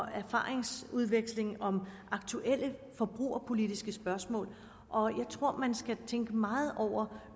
erfaringsudveksling om aktuelle forbrugerpolitiske spørgsmål og jeg tror at man skal tænke meget over